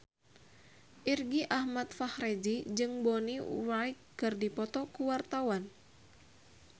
Irgi Ahmad Fahrezi jeung Bonnie Wright keur dipoto ku wartawan